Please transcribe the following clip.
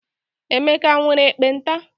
Emeka nwere ekpenta?